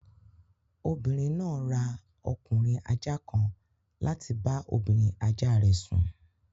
Obìnrin náà ra ọkùnrin ajá kan láti bá obìnrin ajá rẹ̀ sùn